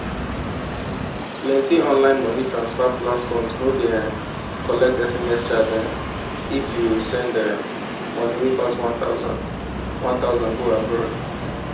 plenty online money transfer platforms no dey um collect sms charge um if you send um money wey pass one thousand one thousand go abroad